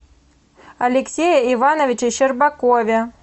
алексее ивановиче щербакове